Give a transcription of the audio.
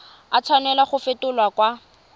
a tshwanela go fetolwa kwa